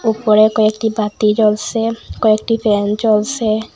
উপরে কয়েকটি বাতি জ্বলসে কয়েকটি ফ্যান চলসে।